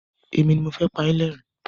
Èmi ni pa yín lẹ́rìn-ín.